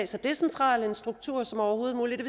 så decentral struktur som overhovedet muligt